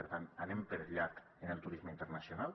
per tant anem per llarg en el turisme internacional